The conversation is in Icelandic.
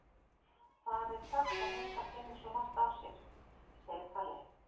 Það er sagt að hundar finni svo margt á sér, segir Palli.